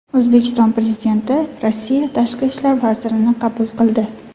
O‘zbekiston Prezidenti Rossiya tashqi ishlar vazirini qabul qildi.